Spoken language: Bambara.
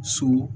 So